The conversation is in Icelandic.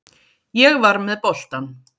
Ég var með boltann.